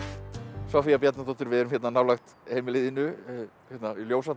Soffía Bjarnadóttir við erum hérna nálægt heimili þínu hérna í